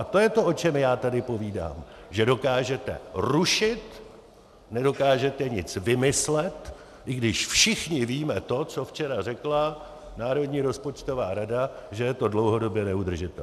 A to je to, o čem já tady povídám: že dokážete rušit, nedokážete nic vymyslet, i když všichni víme to, co včera řekla Národní rozpočtová rada, že je to dlouhodobě neudržitelné.